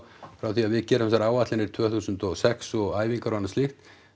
frá því að við gerum þessar áætlanir tvö þúsund og sex og æfingar og annað slíkt